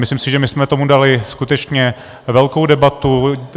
Myslím si, že my jsme tomu dali skutečně velkou debatu.